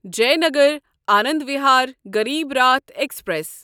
Jaynagar Anand Vihar Garib Rath express